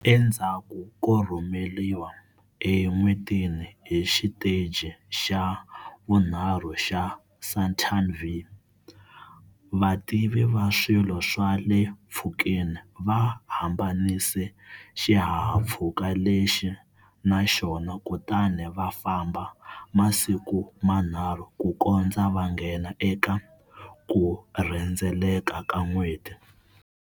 Endzhaku ko rhumeriwa eN'wetini hi xiteji xa vunharhu xa Saturn V, vativi va swilo swa le mpfhukeni va hambanise xihahampfhuka lexi na xona kutani va famba masiku manharhu kukondza va nghena eka ku rhendzeleka ka n'weti.